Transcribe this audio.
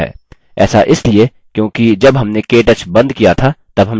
ऐसा इसलिए क्योंकि जब हमने केटच बंद किया था तब हम level 3 में थे